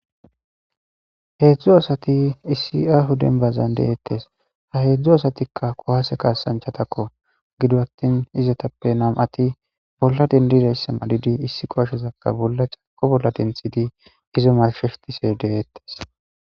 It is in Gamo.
Hedzu asati issi aho denbazan de'etes ha hedzdzu asatika kuwase kasanchatako gido atin istappe nam'ati bolla dendizaysa malidi issi kuwasezaka c'arko bolla densedi iza marshetishe de'etes.